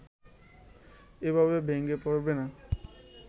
এভাবে ভেঙ্গে পড়বে না